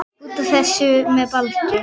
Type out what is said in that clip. Út af. þessu með Baldur?